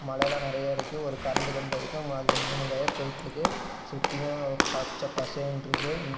மலை எல்லா நெறையா இருக்கு ஒரு கரண்ட் கம்போ இருக்கு அந்த மூணு ஒயர் போயிட்ருக்கு சுத்தியு பச்ச பசேன்ருக்கு இங்க.